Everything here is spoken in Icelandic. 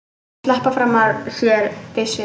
Að sleppa fram af sér beislinu